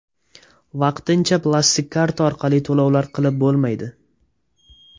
Vaqtincha plastik karta orqali to‘lovlar qilib bo‘lmaydi.